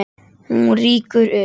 Hún rýkur upp.